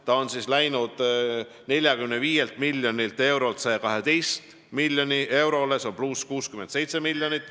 See on kallinenud 45 miljonilt eurolt 112 miljonile eurole ehk +67 miljonit.